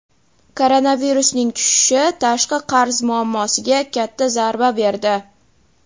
Koronavirusning tushishi tashqi qarz muammosiga katta zarba berdi.